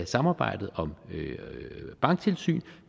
samarbejdet om banktilsyn